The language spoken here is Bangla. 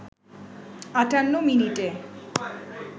৫৮ মিনিটে